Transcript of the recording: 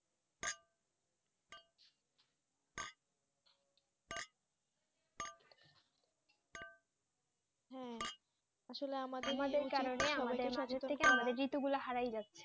হ্যাঁ আসলে আমাদের ঋতু গুলো হারিয়ে যাচ্ছে